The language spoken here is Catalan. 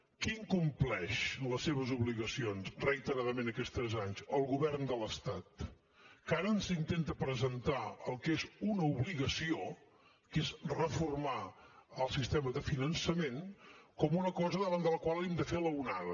qui incompleix les seves obligacions reiteradament aquests tres anys el govern de l’estat que ara ens intenta presentar el que és una obligació que és reformar el sistema de finançament com una cosa davant de la qual hem de fer l’onada